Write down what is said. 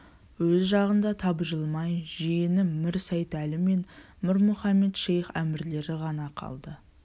өз жағында табжылмай жиені мір сейтәлі мен мір мұхамед-шейх әмірлер ғана қалды